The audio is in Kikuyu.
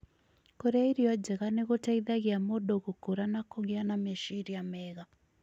Kũrĩa irio njega nĩ gũteithagia mũndũ gũkũra na kũgĩa na meciria mega,